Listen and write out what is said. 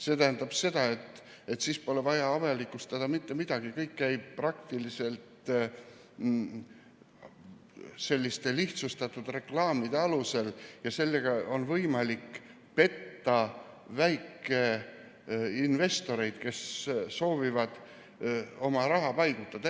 See tähendab seda, et siis pole vaja avalikustada mitte midagi, kõik käib selliste lihtsustatud reklaamide alusel, ja sellega on võimalik petta väikeinvestoreid, kes soovivad oma raha paigutada.